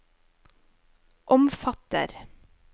omfatter